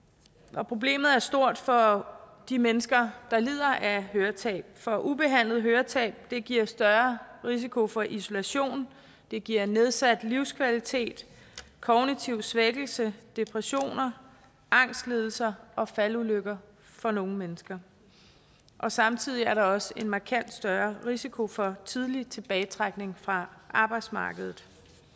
og problemet er stort for de mennesker der lider af høretab for ubehandlet høretab giver større risiko for isolation det giver nedsat livskvalitet kognitiv svækkelse depression angstlidelser og faldulykker for nogle mennesker samtidig er der også en markant større risiko for tidlig tilbagetrækning fra arbejdsmarkedet